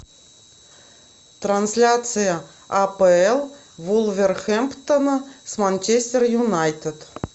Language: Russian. трансляция апл вулверхэмптона с манчестер юнайтед